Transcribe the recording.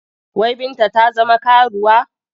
Wai Binta ta zama karuwa?